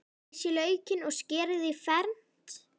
Flysjið laukinn og skerið í fernt.